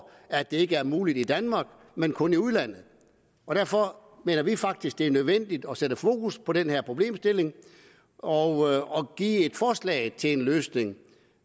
at det ikke er muligt i danmark men kun i udlandet derfor mener vi faktisk at det er nødvendigt at sætte fokus på den her problemstilling og give et forslag til løsning